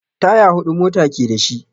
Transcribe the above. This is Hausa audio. Taya huɗu mota ke da shi.